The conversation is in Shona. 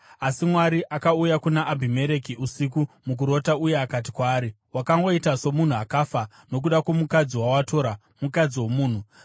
Asi Mwari akauya kuna Abhimereki usiku mukurota uye akati kwaari, “Wakangoita somunhu akafa nokuda kwomukadzi wawatora; mukadzi womunhu.”